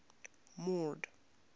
mord